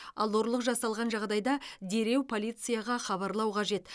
ал ұрлық жасалған жағдайда дереу полицияға хабарлау қажет